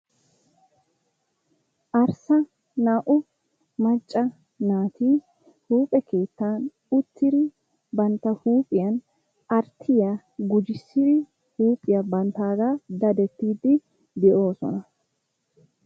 Arssa naa"u macca naati huuphe keettan uttidi bantta huuphiya arttiya gujissidi huuphiya bantaaga dadettiidi de'oosona.